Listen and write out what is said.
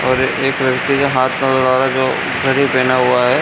और एक लड़के के हाथ में घड़ी पहना हुआ है।